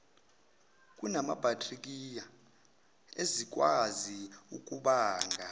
kunamabhakthiriya ezikwazi ukubanga